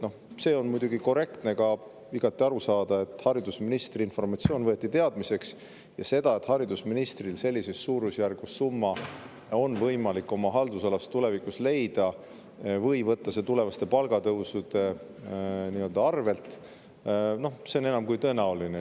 See on muidugi korrektne ja igati arusaadav, sest haridusministri informatsioon võeti teadmiseks, ja see, et haridusministril on võimalik sellises suurusjärgus summa oma haldusalas tulevikus leida või võtta see tulevaste palgatõusude nii-öelda arvelt, on enam kui tõenäoline.